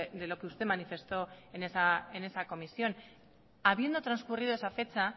de lo que usted manifestó en esa comisión habiendo transcurrido esa fecha